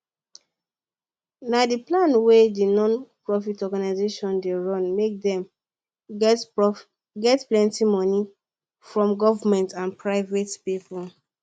na dey plan wey d non profit organisation dey run make dem get plenty money from government and private people